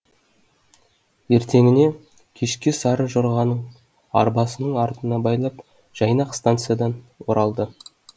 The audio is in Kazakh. ертеңіне кешке сары жорғаны арбасының артына байлап жайнақ станциядан оралды